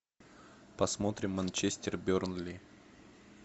посмотрим манчестер бернли